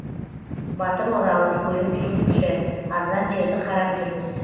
батыр оралов көлік жүргізуші арзан жерді қарап жүрміз